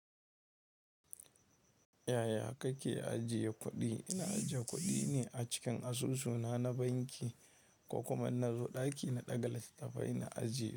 Yaya kake ajiye kuɗi? Ina ajiye kuɗi ne a cikin asusu na na banki, ko kuma inna zo ɗaki na ɗaga littattafai na ajiye.